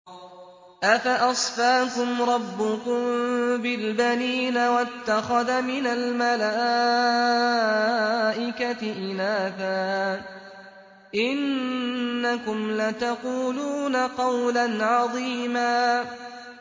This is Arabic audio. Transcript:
أَفَأَصْفَاكُمْ رَبُّكُم بِالْبَنِينَ وَاتَّخَذَ مِنَ الْمَلَائِكَةِ إِنَاثًا ۚ إِنَّكُمْ لَتَقُولُونَ قَوْلًا عَظِيمًا